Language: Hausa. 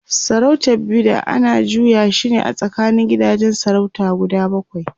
sarautar Bida ana juya shine a tsakanin gidajen sarautar guda bakwai